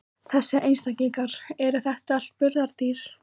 Þessir einstaklingar, eru þetta allt burðardýr?